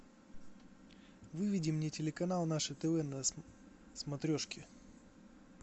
выведи мне телеканал наше тв на смотрешке